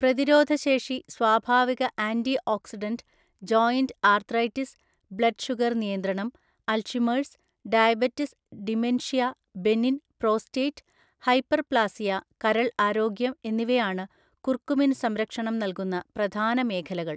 പ്രതിരോധശേഷി സ്വാഭാവിക antioxidant joint arthritis blood sugar നിയന്ത്രണം Alzheimer's diabetes dementia benign prostate hyperplasia കരൾ ആരോഗ്യം എന്നിവയാണ് കുർക്കുമിൻ സംരക്ഷണം നൽകുന്ന പ്രധാന മേഖലകൾ.